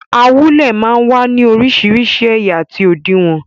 Awúlẹ̀ máa ń wá ní orísìírísìí ẹ̀yà àti òdiwọ̀n.